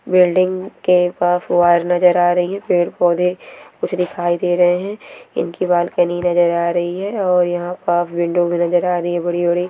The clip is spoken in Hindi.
बिल्डिंग के पास वायर नजर आ रही है पेड़ पौधे कुछ दिखाई दे रहे है इनकी बालकनी नजर आ रही है और यहाँ पास विंडो भी नजर आ रही है बड़ी-बड़ी।